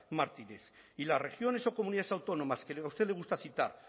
martínez y las regiones o comunidades autónomas que a usted le gusta citar